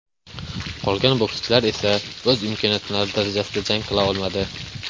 Qolgan bokschilar esa o‘z imkoniyati darajasida jang qila olmadi.